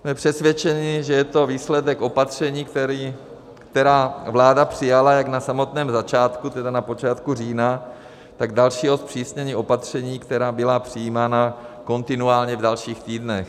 Jsme přesvědčeni, že je to výsledek opatření, která vláda přijala jak na samotném začátku, tedy na počátku října, tak dalšího zpřísnění opatření, která byla přijímána kontinuálně v dalších týdnech.